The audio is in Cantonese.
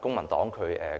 公民黨